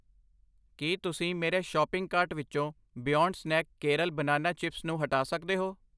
ਕੀ ਤੁਸੀਂ ਮੇਰੇ shopping cart ਵਿੱਚੋ Beyond Snack Kerala banana chips ਨੂੰ ਹਟਾ ਸਕਦੇ ਹੋ?